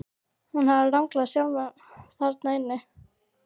Hún hafði ranglað sjálf þarna inn.